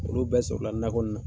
Olu bɛ sɔrɔla nakɔ nin na.